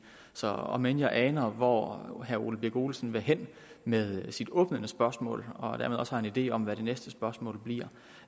så om end jeg aner hvor herre ole birk olesen vil hen med sit åbnende spørgsmål og dermed også har en idé om hvad det næste spørgsmål bliver